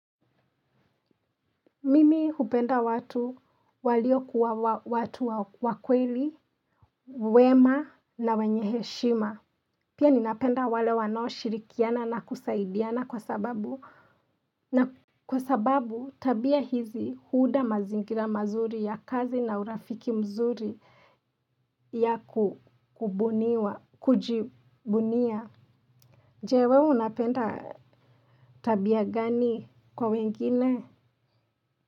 Mimi hupenda watu waliokuwa watu wakweli, wema na wenye heshima. Pia ninapenda wale wanaoshirikiana na kusaidiana kwa sababu. Na kwa sababu tabia hizi huunda mazingira mazuri ya kazi na urafiki mzuri ya kubuniwa, kujibunia. Je wewe unapenda tabia gani kwa wengine?